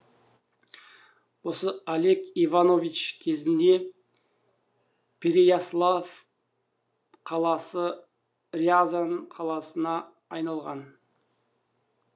осы олег иванович кезінде переяславль қаласы рязань қаласына айналған